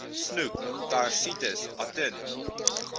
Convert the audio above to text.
snoek thyrsites atun